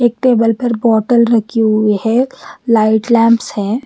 Table पर bottle रखी हुई है लाइट लॅंप्स है।